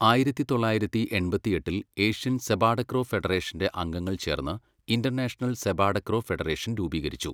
ആയിരത്തി തൊള്ളായിരത്തി എൺപത്തിയെട്ടിൽ, ഏഷ്യൻ സെപാടക്രോ ഫെഡറേഷന്റെ അംഗങ്ങൾ ചേർന്ന് ഇന്റർനാഷണൽ സെപാടക്രോ ഫെഡറേഷൻ രൂപീകരിച്ചു.